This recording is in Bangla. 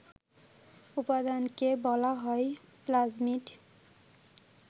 উপাদানকে বলা হয় প্লাজমিড